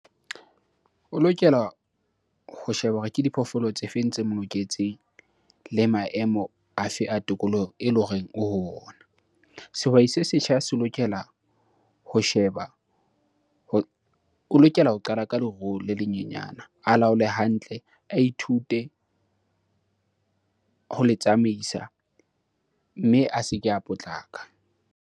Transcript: O lokela ho sheba hore ke diphoofolo tse feng tse mo loketseng le maemo afe a tokoloho eleng horeng o ho ona. Sehwai se setjha se lokela ho sheba o lokela ho qala ka leruo le le nyenyana, a laole hantle, a ithute ho le tsamaisa mme a se ke a potlaka.